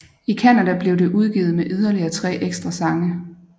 I Canadablev det udgivet med yderligere tre ekstra sange